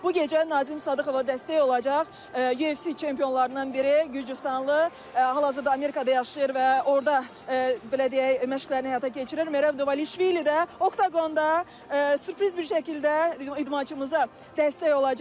Bu gecə Nazim Sadıxova dəstək olacaq UFC çempionlarından biri Gürcüstanlı, hal-hazırda Amerikada yaşayır və orda belə deyək, məşqlərini həyata keçirir Merab Dvalishvili də oqonda sürpriz bir şəkildə idmançımıza dəstək olacaq.